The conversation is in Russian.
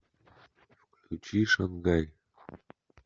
включи шангай